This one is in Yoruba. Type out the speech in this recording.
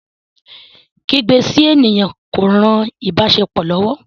Ikígbe sí ènìyàn kò rán ìbáṣepọ lówó.